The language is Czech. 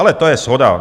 Ale to je shoda.